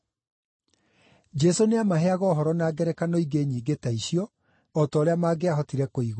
Jesũ nĩamaheaga ũhoro na ngerekano ingĩ nyingĩ ta icio o ta ũrĩa mangĩahotire kũigua.